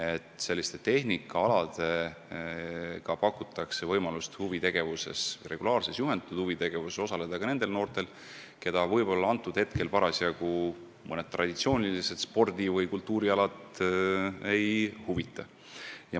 Sellisel viisil tehnikaalasid tutvustades pakutakse võimalust regulaarses juhendatud huvitegevuses osaleda ka nendel noortel, keda parasjagu traditsioonilised spordi- või kultuurialad ei huvita.